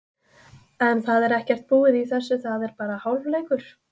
En það er ekkert búið í þessu, það er bara hálfleikur.